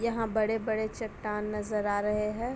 यहां बड़े-बड़े चट्टान नजर आ रहे है ।